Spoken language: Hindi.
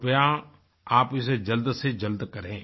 कृपया आप इसे जल्द से जल्द करें